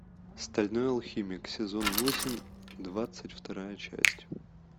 стальной алхимик сезон восемь двадцать вторая часть